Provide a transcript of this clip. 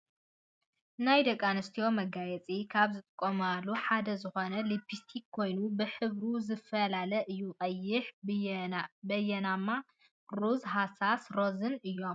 ናይ ደቂ ኣንስትዮ መጋየፂ ካብ ዝጥቀማሉ ሓደ ዝኮነ ሊፕስቲ ኮይኑ ብሕብሩ ዝፈላለ እዩ ቀይሕ፣ በየናማ ፣ ሮዝ ፣ ሃሳስ ሮዝን እዮም ።